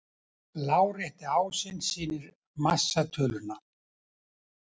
Lárétti ásinn sýnir massatöluna.